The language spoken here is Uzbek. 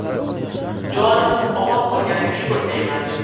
Jonimiz omon qolganiga shukr, deyman.